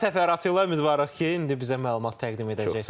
Daha təfərrüatı ilə ümidvarıq ki, indi bizə məlumat təqdim edəcəksiniz.